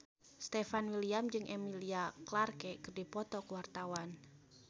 Stefan William jeung Emilia Clarke keur dipoto ku wartawan